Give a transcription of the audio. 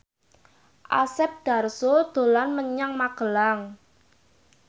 Asep Darso dolan menyang Magelang